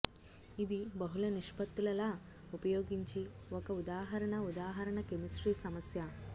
ఇది బహుళ నిష్పత్తుల లా ఉపయోగించి ఒక ఉదాహరణ ఉదాహరణ కెమిస్ట్రీ సమస్య